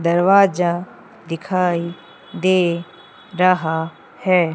दरवाजा दिखाई दे रहा है।